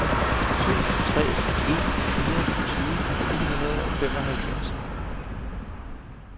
syv tre en fire tyve ni hundrede og femoghalvfjerds